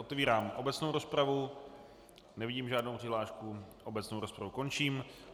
Otevírám obecnou rozpravu, nevidím žádnou přihlášku, obecnou rozpravu končím.